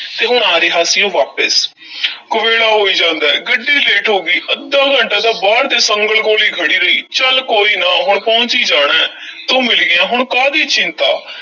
ਤੇ ਹੁਣ ਆ ਰਿਹਾ ਸੀ ਉਹ ਵਾਪਸ ਕਵੇਲਾ ਹੋਈ ਜਾਂਦਾ ਹੈ, ਗੱਡੀ late ਹੋ ਗਈ, ਅੱਧਾ ਘੰਟਾ ਤਾਂ ਬਾਹਰ ਦੇ ਸੰਗਲ ਕੋਲ ਹੀ ਖੜ੍ਹੀ ਰਹੀ ਚੱਲ ਕੋਈ ਨਾ, ਹੁਣ ਪਹੁੰਚ ਈ ਜਾਣਾ ਹੈ ਤੂੰ ਮਿਲ ਗਿਆ, ਹੁਣ ਕਾਹਦੀ ਚਿੰਤਾ,